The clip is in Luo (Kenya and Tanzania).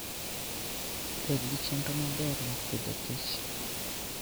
Bed gi chenro maber mar Agriculture and Food.